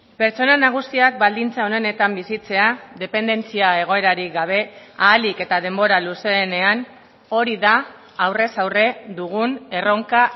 pertsona nagusiak baldintza onenetan bizitzea dependentzia egoerarik gabe ahalik eta denbora luzeenean hori da aurrez aurre dugun erronka